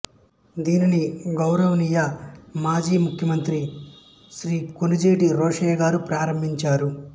దీనిని గౌరవనీయ మాజీ ముఖ్యమంత్రి శ్రీ కొణిజేటి రోశయ్య గారు ప్రారంభించారు